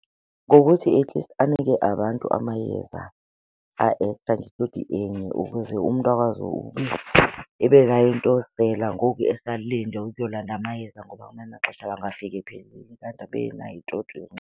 Ngokuthi at least anike abantu amayeza a-extra ngetoti enye ukuze umntu akwazi ebenayo into yosela ngoku esalinde ukuyolanda amayeza. Ngoba ngamanye amaxesha angafika ephelile, kanti abe enayo itoti .